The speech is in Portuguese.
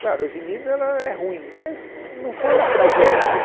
Claro, a avenida ela é ruim, mas não foi uma tragédia.